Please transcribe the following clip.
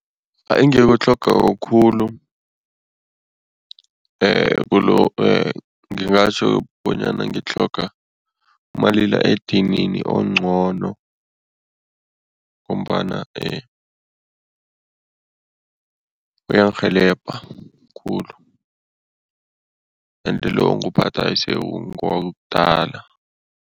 Engikutlhogako khulu ngingatjho bonyana ngitlhoga umalila edinini ongcono ngombana uyangirhelebha khulu ende lo onguwuphathako sekungomdala.